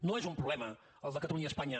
no és un problema el de catalunya i espanya